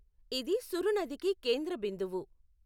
ఇది సురు నదికి కేంద్ర బిందువు.